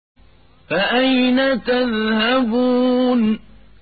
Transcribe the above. فَأَيْنَ تَذْهَبُونَ